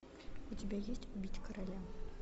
у тебя есть убить короля